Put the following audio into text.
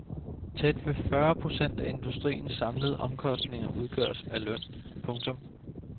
Tæt ved fyrre procent af industriens samlede omkostninger udgøres af løn. punktum